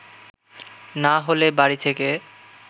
না হলে বাড়ি থেকে